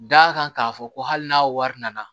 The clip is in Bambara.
D'a kan k'a fɔ ko hali n'a wari nana